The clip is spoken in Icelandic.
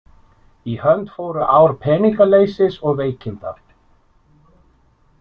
Í hönd fóru ár peningaleysis og veikinda.